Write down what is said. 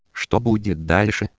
что будет